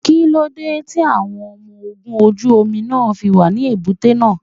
Kíló dé tí àwọn ọmọ ogun ojú omi náà fi wà ní èbúté náà?